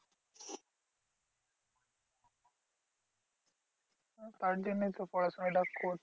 তার জন্যই তো পড়াশোনা টা করছি।